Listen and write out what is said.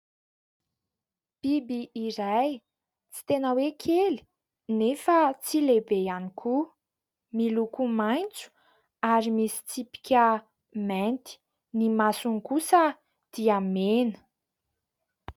Biby iray, tsy tena hoe kely anefa tsy lehibe ihany koa. Miloko maitso ary misy tsipika mainty, ny masony kosa dia mena.